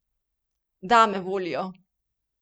Dame volijo!